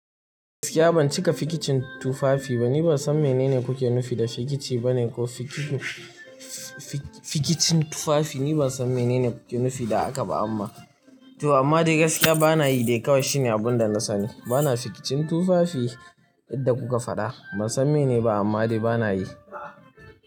Gaskiya ban cika fikicin tufafi ba. Ni ban san mene ne kuke nufi da fikici bane ko fikicin tufafi. Ni ban san mene ne kuke nufi da haka ba amma to amma dai gaskiya bana yi dai kawai shine abin da na sani. Bana fikicin tufafi idan kuka faɗa ban san mene ba amma dai bana yi.